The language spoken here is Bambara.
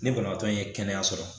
Ni banabaatɔ in ye kɛnɛya sɔrɔ